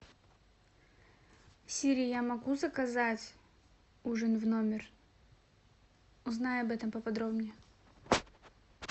сири я могу заказать ужин в номер узнай об этом поподробнее